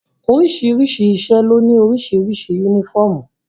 Oríṣiríṣi iṣẹ́ ló ní oríṣiríṣi yúnífọ̀mù